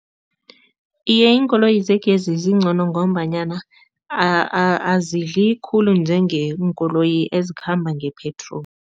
Iye, iinkoloyi zegezi zingcono ngombanyana azidli khulu njengeenkoloyi ezikhamba nge-petrol.